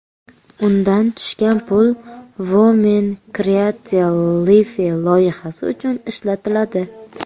Undan tushgan pul Women Create Life loyihasi uchun ishlatiladi.